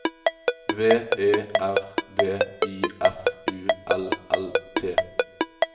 V E R D I F U L L T